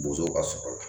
Bozo ka sɔrɔ